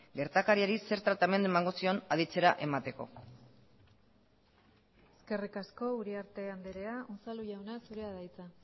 gertakariari zer tratamendu emango zion aditzera emateko eskerrik asko uriarte andrea unzalu jauna zurea da hitza